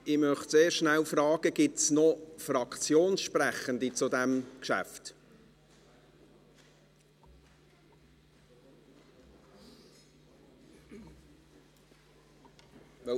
Ich möchte zuerst fragen, ob es noch Fraktionssprechende zu diesem Geschäft gibt.